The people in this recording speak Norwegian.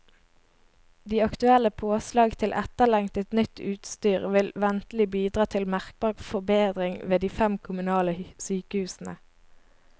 De aktuelle påslag til etterlengtet, nytt utstyr vil ventelig bidra til merkbar forbedring ved de fem kommunale sykehusene.